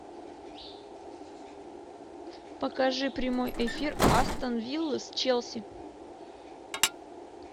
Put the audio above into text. покажи прямой эфир астон виллы с челси